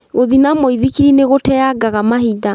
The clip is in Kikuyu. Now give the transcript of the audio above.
Gũthiĩ na mũithikiri nĩgũteangaga mahinda